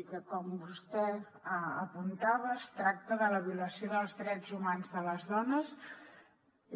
i que com vostè apuntava es tracta de la violació dels drets humans de les dones